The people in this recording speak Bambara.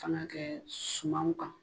Fanna kɛ sumanw kan